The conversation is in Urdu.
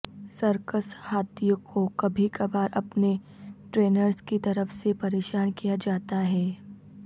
سرکس ہاتھیوں کو کبھی کبھار اپنے ٹرینرز کی طرف سے پریشان کیا جاتا ہے